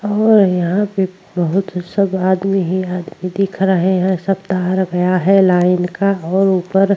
और यहां पर बोहोत सब आदमी ही आदमी दिख रहे हैं। सब तार गया है लाइन का और ऊपर --